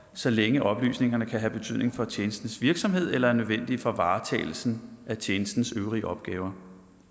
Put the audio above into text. så længe oplysningerne kan have betydning for tjenestens virksomhed eller er nødvendige for varetagelsen af tjenestens øvrige opgaver